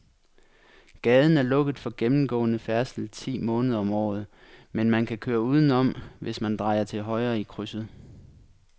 Gaden er lukket for gennemgående færdsel ti måneder om året, men man kan køre udenom, hvis man drejer til højre i krydset.